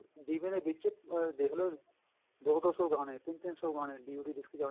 DVD ਦੇ ਵਿੱਚ ਦੇਖਲੋ ਦੋ ਦੋ ਸ਼ੋ ਗਾਣੇ ਤਿੰਨ ਤਿੰਨ ਸ਼ੋ ਗਾਣੇ DVD disk